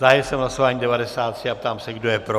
Zahájil jsem hlasování 93 a ptám se, kdo je pro.